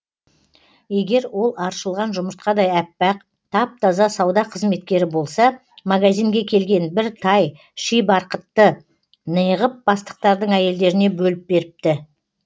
егер ол аршылған жұмыртқадай аппақ тап таза сауда қызметкері болса магазинге келген бір тай ши барқытты неғып бастықтардың әйелдеріне бөліп беріпті